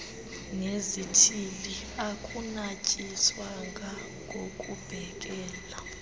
nezithili akunatyiswanga ngokubhekele